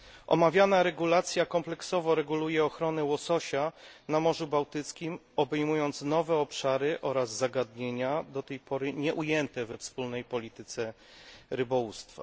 Omawiana regulacja kompleksowo reguluje ochronę łososia na Morzu Bałtyckim, obejmując nowe obszary oraz zagadnienia do tej pory nieujęte we wspólnej polityce rybołówstwa.